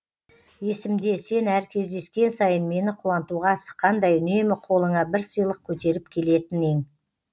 есімде сен әр кездескен сайын мені қуантуға асыққандай үнемі қолыңа бір сыйлық көтеріп келетін ең